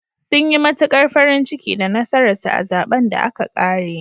Sun yi matuƙar farin ciki da nasarar sa a zaɓen da aka ƙare.